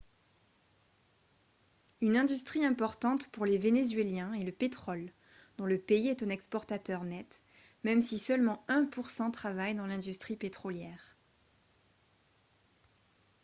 une industrie importante pour les vénézuéliens est le pétrole dont le pays est un exportateur net même si seulement un pour cent travaille dans l'industrie pétrolière